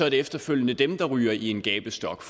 efterfølgende er dem der ryger i en gabestok